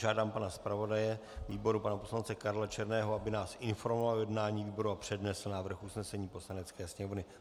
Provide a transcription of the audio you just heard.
Žádám pana zpravodaje výboru, pana poslance Karla Černého, aby nás informoval o jednání výboru a přednesl návrh usnesení Poslanecké sněmovny.